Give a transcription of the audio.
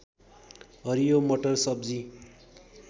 हरियो मटर सब्जी